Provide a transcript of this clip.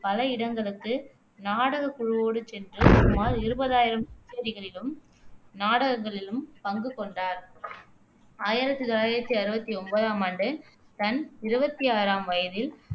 பல இடங்களுக்கு நாடகக்குழுவோடு சென்று சுமார் இருபதாயிரம் கச்சேரிகளிலும், நாடகங்களிலும் பங்கு கொண்டார் ஆயிரத்தி தொள்ளாயிரத்தி அறுவத்தி ஒம்போதாமாண்டு தன் இருவத்தி ஆறாம் வயதில்